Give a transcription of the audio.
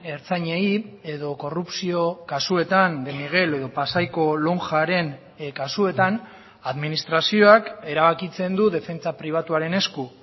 ertzainei edo korrupzio kasuetan de miguel edo pasaiko lonjaren kasuetan administrazioak erabakitzen du defentsa pribatuaren esku